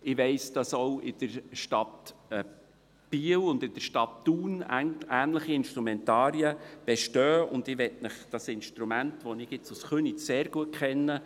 Ich weiss, dass auch in den Städten Biel und Thun ähnliche Instrumentarien bestehen, und ich möchte Ihnen das Instrument kurz beschreiben, das ich jetzt aus Köniz sehr gut kenne.